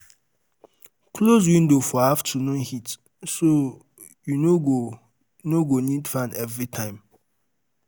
Close window for afternoon heat ,so you no go need no go need fan every time.